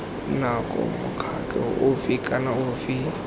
nako mokgatlho ofe kana ofe